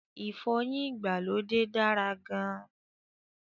Ìfọyín ìgbàlódé dára gan-an